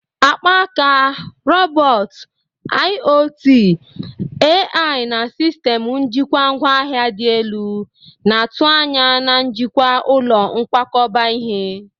Akpaaka, robot, IoT, AI, na sistemụ njikwa ngwa ahịa dị elu na-atụ anya na njikwa ụlọ nkwakọba ihe.